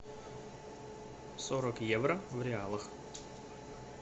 сорок евро в реалах